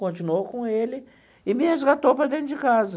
Continuou com ele e me resgatou para dentro de casa.